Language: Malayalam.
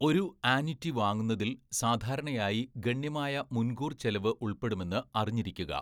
ഒരു ആന്വിറ്റി വാങ്ങുന്നതിൽ സാധാരണയായി ഗണ്യമായ മുൻകൂർ ചെലവ് ഉൾപ്പെടുമെന്ന് അറിഞ്ഞിരിക്കുക.